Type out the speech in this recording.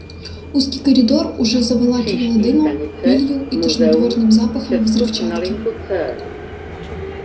узкий коридор уже заволакивало дымом пылью и тошнотворным запахом взрывчатки